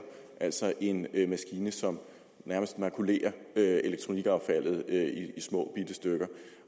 altså en maskine som nærmest makulerer elektronikaffaldet i småbitte stykker